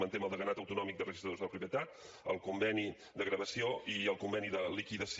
manté amb el deganat autonòmic dels registradors de la propietat el conveni de gravació i el conveni de liquidació